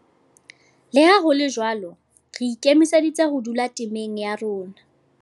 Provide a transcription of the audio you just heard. Le ha ho le jwalo, re ikemiseditse ho dula temeng ya rona.